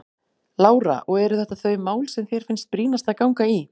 Lára: Og eru þetta þau mál sem þér finnst brýnast að ganga í?